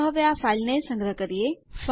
ચાલો હવે આ ફાઇલ ને સંગ્રહ કરીએ